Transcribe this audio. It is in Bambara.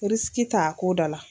t' a ko da la.